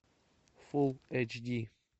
фулл эйч ди